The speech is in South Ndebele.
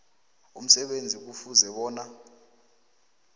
umsebenzi kufuze bona